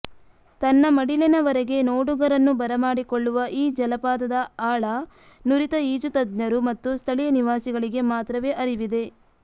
ತನ್ನ ಮಡಿಲಿನವರೆಗೆ ನೋಡುಗರನ್ನು ಬರಮಾಡಿಕೊಳ್ಳುವ ಈ ಜಲಪಾತದ ಆಳ ನುರಿತ ಈಜು ತಜ್ಞರು ಮತ್ತು ಸ್ಥಳೀಯ ನಿವಾಸಿಗಳಿಗೆ ಮಾತ್ರವೆ ಅರಿವಿದೆ